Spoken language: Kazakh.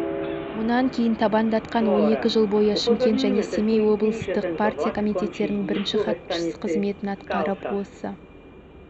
мұнан кейін табандатқан он екі жыл бойы шымкент және семей облыстық партия комитеттерінің бірінші хатшысы қызметін атқарып осы